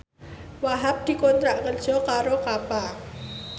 Wahhab dikontrak kerja karo Kappa